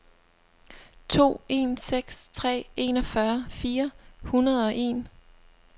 to en seks tre enogfyrre fire hundrede og en